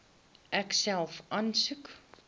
ek self aansoek